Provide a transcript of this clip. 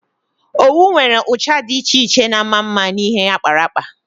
Owu nwere ụcha dị iche iche na-ama mma n'ihe akparakpa.